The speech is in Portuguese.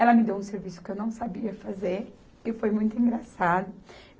Ela me deu um serviço que eu não sabia fazer e foi muito engraçado.